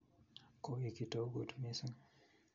Koi kitokut missing